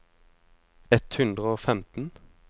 ett hundre og femten